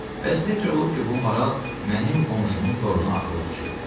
Bəs necə olub ki, bu maral mənim qonşumun toruna atılıb düşüb?”